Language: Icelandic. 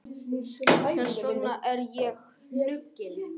Þess vegna er ég hnugginn.